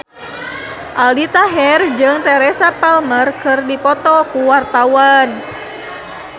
Aldi Taher jeung Teresa Palmer keur dipoto ku wartawan